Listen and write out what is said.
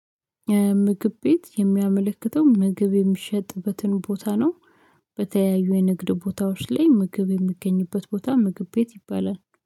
ምግብ ቤት የሚያመለክተው ምግብ የሚሸጥበትን ቦታ ነው። በተያዩ የንግድ ቦታዎች ላይ ምግብ የሚገኝበት ቦታ ምግብ ቤት ይባላል